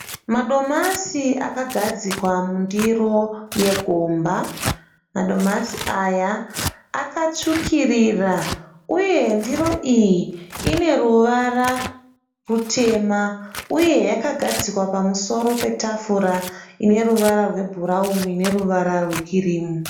Madomasi akagadzikwa mundiro yegomba. Madomasi aya akatsvukirira uye ndiro iyi ine ruvara rutema uye yakagadzikwa pamusoro petafura ine ruvara rwe bhurauni neruvara rwe kirimu.